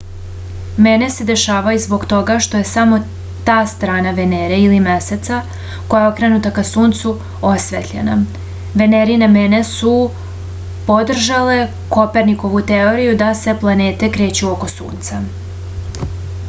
мене се дешавају због тога што је само та страна венере или месеца која је окренута ка сунцу осветљена. венерине мене су подржале коперникову теорију да се планете крећу око сунца